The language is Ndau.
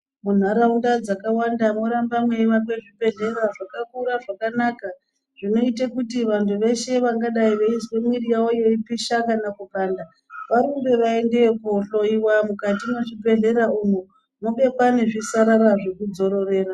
Munharaunda dzakawanda mworamba mweiakwe zvibhedhlera zvakakura, zvakanaka, zvinoita kuti vanhu vangadai veizwe mwiiri yavo yeipisha kana kupanda, varumbe ,vaendeyo koohloiwa. Mukati mwechibhedhlera umu, mobekwa nezvisarara zvekudzororera.